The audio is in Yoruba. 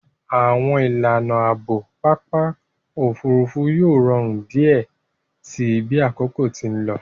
Àwọn ìlànà Ààbò Pápá òfurufú yóò rọrùn diẹ síi bí àkókò tí nlò.